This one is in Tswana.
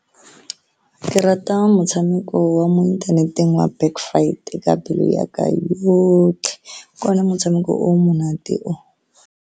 Ke rata motshameko wa mo inthaneteng wa Back Fight ka pelo ya ka yotlhe, ke one motshameko o o monate o.